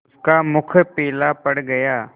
उसका मुख पीला पड़ गया